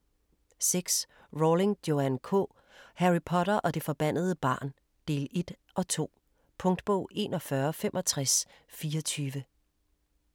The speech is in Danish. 6. Rowling, Joanne K.: Harry Potter og det forbandede barn: del et & to Punktbog 416524